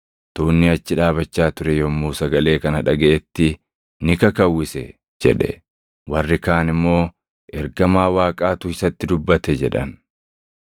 Tuunni achi dhaabachaa ture yommuu sagalee kana dhagaʼetti, “Ni kakawwise” jedhe. Warri kaan immoo, “Ergamaa Waaqaatu isatti dubbate” jedhan.